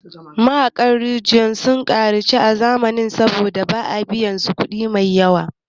Mahaƙan rijaya sun ƙaranci a zamanin nan saboda ba a biyan su kudi maiyawa